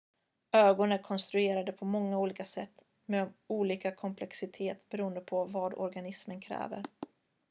ögon är konstruerade på många olika sätt med olika komplexitet beroende på vad organismen kräver